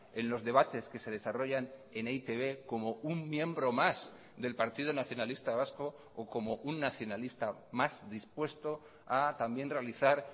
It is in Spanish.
en los debates que se desarrollan en e i te be como un miembro más del partido nacionalista vasco o como un nacionalista más dispuesto a también realizar